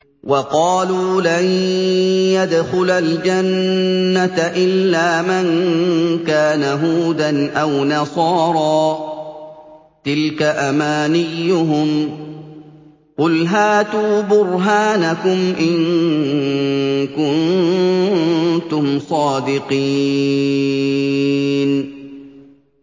وَقَالُوا لَن يَدْخُلَ الْجَنَّةَ إِلَّا مَن كَانَ هُودًا أَوْ نَصَارَىٰ ۗ تِلْكَ أَمَانِيُّهُمْ ۗ قُلْ هَاتُوا بُرْهَانَكُمْ إِن كُنتُمْ صَادِقِينَ